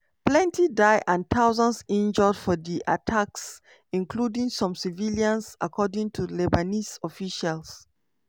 plenty die and thousands injure for di attacks including some civilians according to lebanese officials.